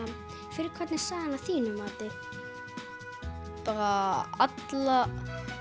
fyrir hvern er sagan að þínu mati bara alla